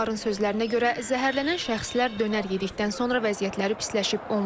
Yaxınların sözlərinə görə zəhərlənən şəxslər dönər yedikdən sonra vəziyyətləri pisləşib.